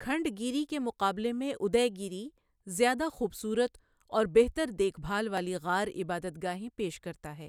کھنڈگیری کے مقابلے میں ادے گیری زیادہ خوبصورت اور بہتر دیکھ بھال والی غار عبادت گاہیں پیش کرتا ہے۔